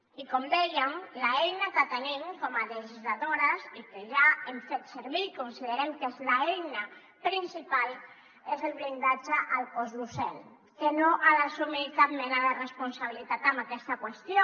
i com dèiem l’eina que tenim com a legisladores i que ja hem fet servir i considerem que és l’eina principal és el blindatge al cos docent que no ha d’assumir cap mena de responsabilitat en aquesta qüestió